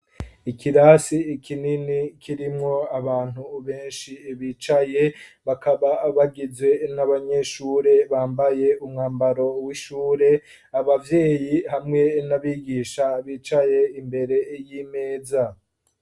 Ikirasi ikinini kirimwo abantu benshi bicaye bakaba bagizwe n'abanyeshure bambaye umwambaro w'ishure abavyeyi hamwe n'abigisha bicaye imbere y'imeza.